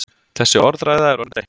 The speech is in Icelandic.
Þessi orðræða er orðin þreytt!